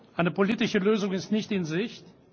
Eine politische Lösung ist nicht in Sicht.